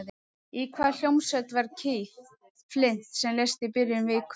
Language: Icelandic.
Í hvaða hljómsveit var Keith Flint sem lést í byrjun vikunnar?